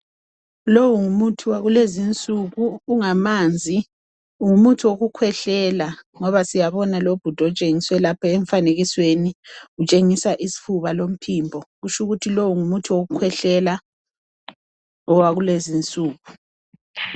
Lowu ngumuthi wakulezinsuku ungamanzi. Ngumuthi wokukhwehlela. Ngoba siyabona lobhudo tshengiswe laphe mfanekisweni utshengisa isfuba lomphimbo kutshukuthi lo ngumuthi wokukhwehlela, wakulezinsuku.